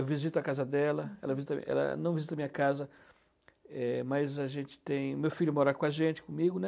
Eu visito a casa dela, ela visita, não visita a minha casa, é, mas a gente tem... Meu filho mora com a gente, comigo, né?